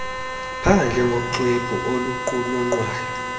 phandle ngoxwebhu oluqulunqwayo